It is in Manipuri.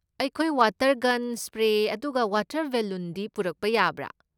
ꯑꯩꯈꯣꯏ, ꯋꯥꯇꯔ ꯒꯟ, ꯁ꯭ꯄ꯭ꯔꯦ ꯑꯗꯨꯒ ꯋꯥꯇꯔ ꯕꯦꯂꯨꯟꯗꯤ ꯄꯨꯔꯛꯄ ꯌꯥꯕ꯭ꯔꯥ?